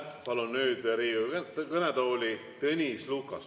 Ma palun nüüd Riigikogu kõnetooli Tõnis Lukase.